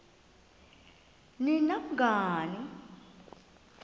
ni nam nangani